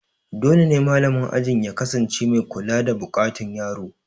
Dole ne malamin ajin ya kasance mai kula da buƙatun yaro